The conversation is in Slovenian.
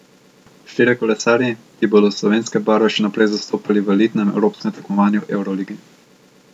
Štirje košarkarji, ki bodo slovenske barve še naprej zastopali v elitnem evropskem tekmovanju evroligi.